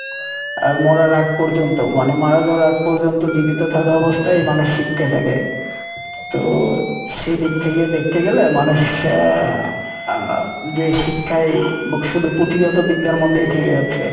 আর মরার আগ পর্যন্ত মানে মারা যাওয়ার আগ পর্যন্ত জীবিত থাকা অবস্থায় মানুষ শিখতে থাকে তো সেইদিক থেকে দেখতে গেলে মানুষ আহ যে শিক্ষায় শুধু পুঁথিগত বিদ্যার মধ্যেই থেকে যাচ্ছে